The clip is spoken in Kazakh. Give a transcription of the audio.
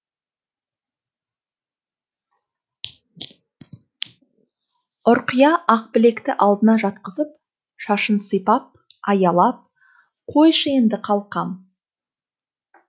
ұрқия ақбілекті алдына жатқызып шашын сипап аялап қойшы енді қалқам